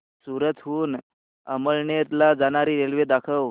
सूरत हून अमळनेर ला जाणारी रेल्वे दाखव